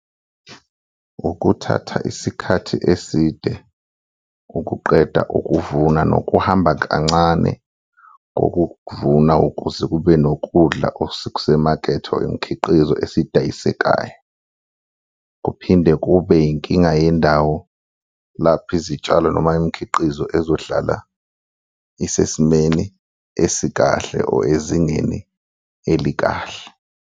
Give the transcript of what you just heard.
Ukuthatha isikhathi eside ukuqeda ukuvuna nokuhamba kancane ngokukuvuna ukuze kube nokudla okusemakethe or imikhiqizo esidayisekayo. Kuphinde kube yinkinga yendawo lapho izitshalo noma imikhiqizo ezohlala isesimeni esikahle or ezingeni elikahle.